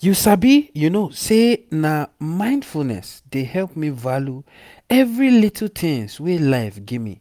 you sabi say na mindfulness dey help me value every little tins wey life gimme